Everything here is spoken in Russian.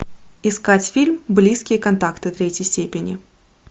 искать фильм близкие контакты третьей степени